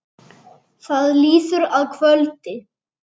Það líður að kvöldi.